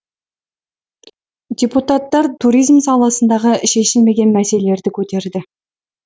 депутаттар туризм саласындағы шешілмеген мәселелерді көтерді